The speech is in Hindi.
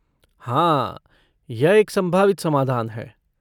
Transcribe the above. हाँ, यह एक संभावित समाधान है।